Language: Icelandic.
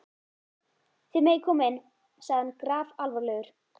Þið megið koma inn, sagði hann grafalvarlegur.